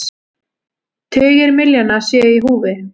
Tugir milljóna séu í húfi.